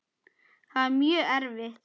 Það er mjög erfitt.